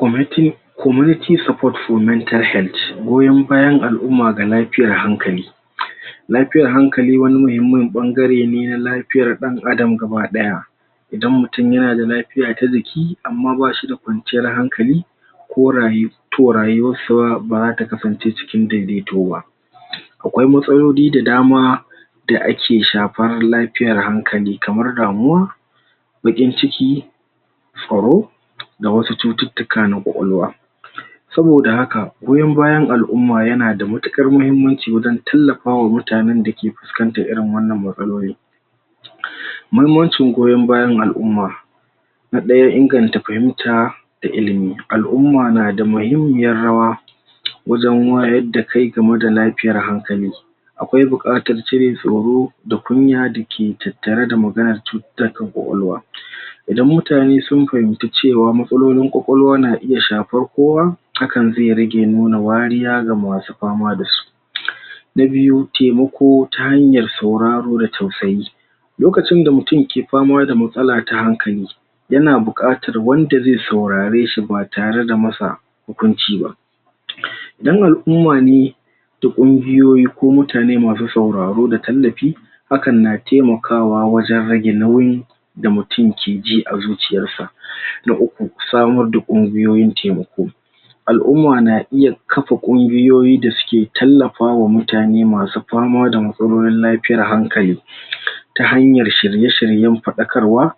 Goyon bayan al'umma ga lafiyar hankali lafiyar hankali wani mahimman bangare ne na lafiyar dan adam gabadaya idan mutum ya na da lafiya ta jiki amma ba shi da kwanciyar hankali ko rayu, toh ba za ta kasance ciki daidaito ba akwai matsaloli da dama da a ke shafar lafiyar hankali kamar damuwa bakin ciki tsaro da wasu cututuka na kwakwalwa saboda haka, goyon bayan al'umma ya na matukar mahimmanci dan tallafawa mutanen da ke fuskanta irin wannan matsaloli. Mahimmancin goyon bayan al'umma na daya, inganta fahimta da ilimi. Al'umma na da mahimmiyar rawa wajen wayar da kai game da lafiyar hankali akwai bukatar cire tsoro da kunya da ke tattara da magana cututuka kwakwalwa Idan mutane sun fahimta cewa matsalolin kwakwalwa na iya shafar kowa hakan ze rage nuna wariya ga masu fama da su Na biyu, taimako ta hanyar sauraro da tausayi lokacin da mutumke fama da matsala ta hankali ya na bukatar wanda ze saurare shi ba tare da masa hukunci ba. Dan al'umma ne, da kunguyoyi ko mutane masu sauraro da tallafi hakan na taimakawa wajen rage nauyin da mutum ke ji a zuciyar sa. Na uku, samar da kunguyoyin taimako. Al'umma na iya kafa kunguyoyi da su ke tallafa wa mutane ma su Fama da matsalolin lafiyar hankali ta hanyar shirye-shirye fadakarwa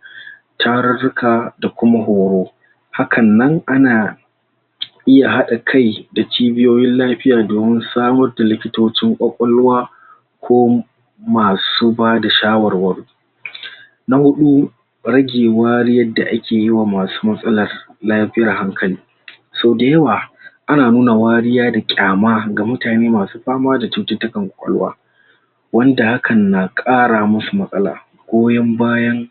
tararuka da kuma horo hakan nan a na iya hada kai, da cibiyoyin lafiya domin samar da likitocin kwakwalwa ko masu ba da shawarwar. Na hudu rage wari yadda a ke yi wa masu matsala lafiyar hankali so dayawa a na nuna wariya da kyama ga mutane masu fama da cututuka kwakwalwa wanda hakan na kara musu matsala goyon bayan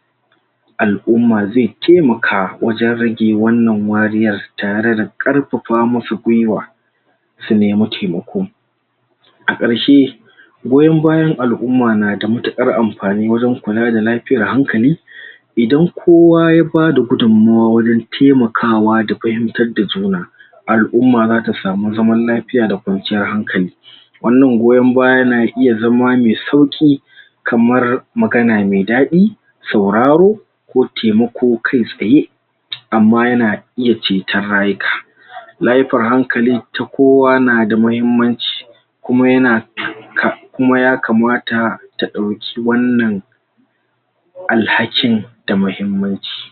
al'umma ze taimaka wajen rage wannan wariyar tare da karfafa masu gwiwa su nemo taimako. A karshe goyon bayan al'umma na da matukar wurin kula da lafiyar hankali. Idan kowa ya ba da gudumuwa wurin taimakawa da fahimtar da juna al'umma za ta samu zaman lafiya da kwanciyar hankali. Wannan goyon baya na iya zama me sauki kamar magana mai dadi, sauraro ko taimako kai tsaye amma ya na iya cetar rayuka layifar hankali, kowa na da mahimmanci kuma ya na kuma ya kamata ta dauki wannan alhakin da mahimmanci.